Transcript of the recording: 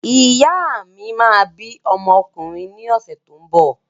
Ìyá mi máa bí ọmọ ọkùnrin ní ọ̀sẹ̀ tó ń bọ̀.